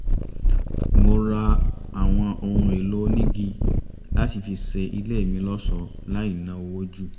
mo ra àwọn ohun èlò onígi láti fi ṣe ilé mi lọ́ṣọ̀ọ́ láì ná owó jù